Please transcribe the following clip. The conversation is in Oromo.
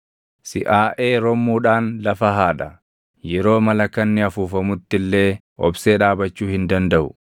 Siʼaaʼee rommuudhaan lafa haadha; yeroo malakanni afuufamutti illee obsee dhaabachuu hin dandaʼu.